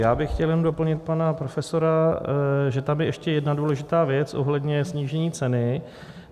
Já bych chtěl jenom doplnit pana profesora, že tam je ještě jedna důležitá věc ohledně snížení ceny.